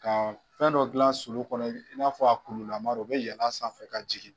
Ka fɛn dɔ dilan sulou kɔnɔ i n'a fɔ a kulu lama u bɛ yɛlɛn a sanfɛ ka jigin